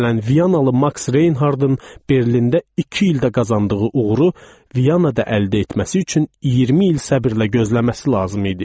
Məsələn Viyanalı Maks Reynhardın Berlində iki ildə qazandığı uğuru Viyanada əldə etməsi üçün 20 il səbirlə gözləməsi lazım idi.